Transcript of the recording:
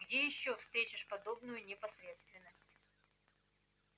где ещё встретишь подобную непосредственность